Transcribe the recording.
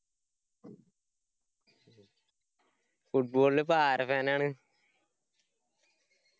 football ഇൽ ഇപ്പൊ ആര fan ആണ്?